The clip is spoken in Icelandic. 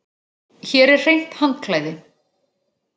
Hér er hreint handklæði.